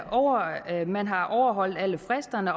at man har overholdt alle fristerne